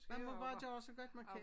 Man må bare gøre så godt man kan